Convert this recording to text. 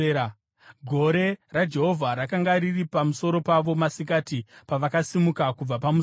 Gore raJehovha rakanga riri pamusoro pavo masikati pavakasimuka kubva pamusasa.